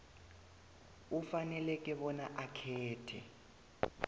ufanele bona akhethe